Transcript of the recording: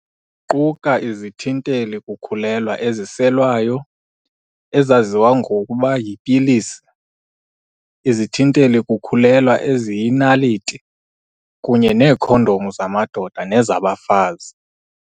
Ziquka izithinteli-kukhulelwa eziselwayo, ezaziwa ngokuba 'yipilisi', izithinteli-kukhulela eziyinaliti, kunye neekhondomu zamadoda nezabafazi.